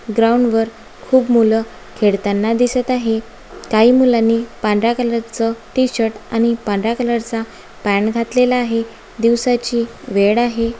ग्राउंडवर खूप मुलं खेडताना दिसत आहे काही मुलांनी पांढरा कलरचं टी-शर्ट आणि पांढरा कलरचा पॅंट घातलेला आहे. दिवसाची वेड आहे.